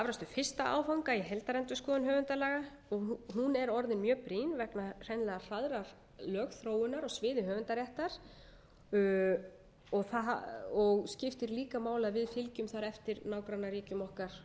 afrakstur fyrsta áfanga i heildarendurskoðun höfundalaga og hún er orðin mjög brýn vegna hreinlegra hraðrar lögþróun á sviði höfundaréttar og skiptir líka máli að við fylgjum þar eftir nágrannaríkjum okkar